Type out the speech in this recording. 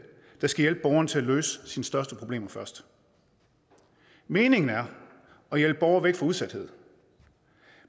der skal hjælpe borgeren til at løse største problemer først meningen er at hjælpe borgere væk fra udsathed